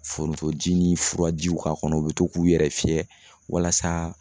Forontoji ni furajiw k'a kɔnɔ u bɛ to k'u yɛrɛ fiyɛ walasa